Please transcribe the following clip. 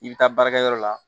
I bɛ taa baarakɛyɔrɔ la